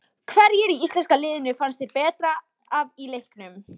Hverjir í íslenska liðinu fannst þér bera af í leiknum?